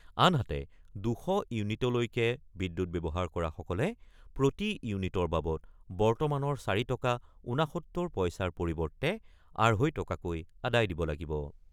আনহাতে, ২০০ ইউনিটলৈকে বিদ্যুৎ ব্যৱহাৰ কৰাসকলে প্ৰতি ইউনিটৰ বাবদ বৰ্তমানৰ ৪ টকা ৬৯ পইচাৰ পৰিৱৰ্তে আঢ়ৈ টকাকৈ আদায় দিব লাগিব।